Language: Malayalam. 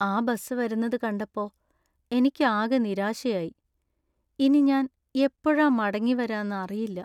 ആ ബസ് വരുന്നത് കണ്ടപ്പോ എനിക്ക് ആകെ നിരാശയായി . ഇനി ഞാൻ എപ്പോഴ മടങ്ങി വരാന്ന്‌ അറിയില്ല.